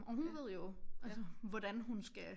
Og hun ved jo altså hvordan hun skal